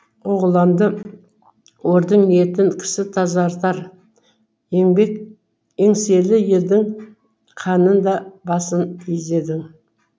оғыланды ордың ниетін кісі тазартар еңселі елдің ханның да басын игедім